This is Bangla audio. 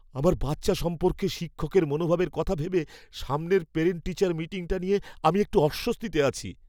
আমার বাচ্চা সম্পর্কে শিক্ষকের মনোভাবের কথা ভেবে সামনের পেরেন্ট টিচার মিটিংটা নিয়ে আমি একটু অস্বস্তিতে আছি।